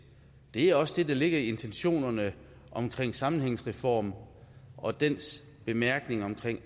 det er også det der ligger i intentionerne omkring sammenhængsreformen og dens bemærkninger om